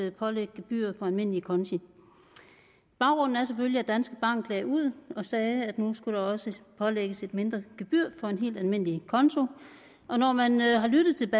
at pålægge gebyr for almindelige konti baggrunden er selvfølgelig at danske bank lagde ud og sagde at nu skulle der også pålægges et mindre gebyr for en helt almindelig konto og når man har lyttet til